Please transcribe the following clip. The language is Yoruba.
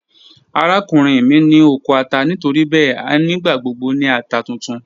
Arakunrin mi ni oko ata nitoribẹẹ a nigbagbogbo ni ata tuntun.